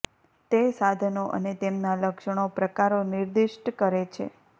તે સાધનો અને તેમના લક્ષણો પ્રકારો નિર્દિષ્ટ કરે છે